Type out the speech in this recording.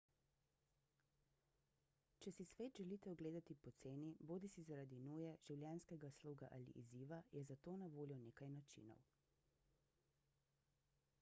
če si svet želite ogledati poceni bodisi zaradi nuje življenjskega sloga ali izziva je za to na voljo nekaj načinov